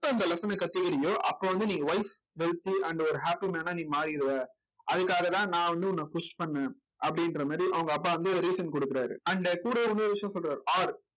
எப்போ அந்த lesson கத்துக்கிறியோ அப்போ வந்து நீங்க wealth and ஒரு happy man ஆ நீ மாறிடுவ அதுக்காகதான் நான் வந்து உன்னை push பண்ணேன் அப்படின்ற மாதிரி அவங்க அப்பா வந்து ஒரு reason கொடுக்கிறாரு and கூடவே வந்து ஒரு விஷயம் சொல்றாரு or